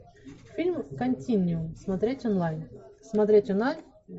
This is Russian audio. фильм континиум смотреть онлайн смотреть онлайн